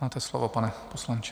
Máte slovo, pane poslanče.